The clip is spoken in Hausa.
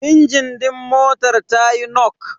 Injin din motar tayi nok.